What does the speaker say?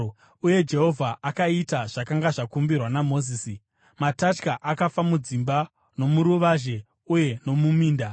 Uye Jehovha akaita zvakanga zvakumbirwa naMozisi. Matatya akafa mudzimba, nomuruvazhe uye nomuminda.